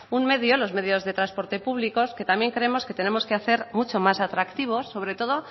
un medio los medios de transporte públicos que también creemos que tenemos que hacer mucho más atractivos sobre todo